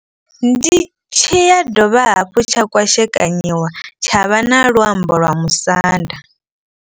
Ndi tshi ya dovha hafhu tsha kwashekanyiwa tsha vha na luambo lwa musanda.